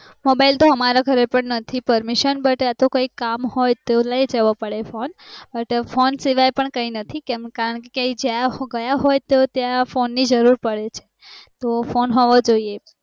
mobile તો અમ ઘરે પણ નથી permissionbut અતો કયક કામ હોઇ તો લય જવો પડે butphone સિવાય કાય નાથી કેમ કારણ કે એ જ્યાં ગયા હોઈ ત્યાં phone ની જરૂર પડે